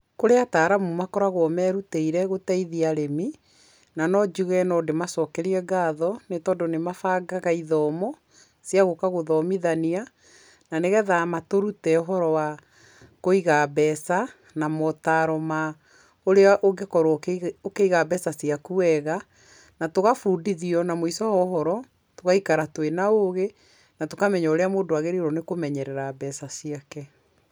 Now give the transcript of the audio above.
Kũrĩ ataaramu makoragwo merutĩire gũteithia arĩmi, na no njuge no ndĩmacokerie ngatho, nĩ tondũ nĩ mabangaga ithomo cia gũka gũthomithania na nĩgetha matũrute ũhoro wa kũiga mbeca na motaaro ma ũrĩa ũngĩkorwo ũkĩiga mbeca ciaku wega, na tũgabundithio na mũico wa ũhoro tũgaikara twĩ na ũgĩ na tũkamenya ũrĩa mũndũ agĩrĩirwo nĩ kũmenyerera mbeca ciake.